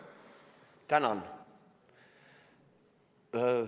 Tänan!